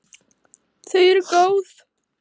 Þau eru góð.